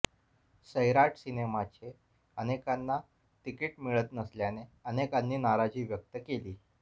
सैराट सिनेमाचे अनेकांना तिकीट मिळत नसल्याने अनेकांनी नाराजी व्यक्त केली